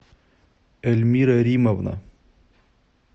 эльмира римовна